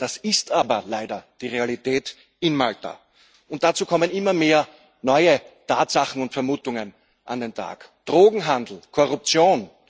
Das ist aber leider die Realität in Malta. Dazu kommen immer mehr neue Tatsachen und Vermutungen an den Tag Drogenhandel und Korruption.